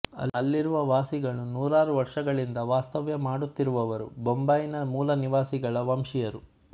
ಅಲ್ಲಿರುವ ವಾಸಿಗಳು ನೂರಾರುವರ್ಷಗಳಿಂದ ವಾಸ್ತವ್ಯಮಾಡುತ್ತಿರುವವರು ಬೊಂಬಾಯಿನ ಮೂಲ ನಿವಾಸಿಗಳ ವಂಶೀಯರು